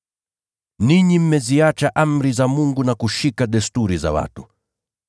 Ninyi mmeziacha amri za Mungu na kushika desturi za watu.”